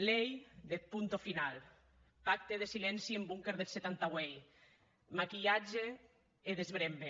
lei deth punto final pacte de silenci en bunquer deth setanta vuit maquilhatge e desbrembe